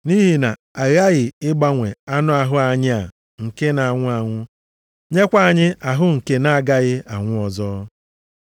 Nʼihi na a ghaghị ịgbanwe anụ ahụ anyị a nke na-anwụ anwụ, nyekwa anyị ahụ nke na-agaghị anwụ ọzọ.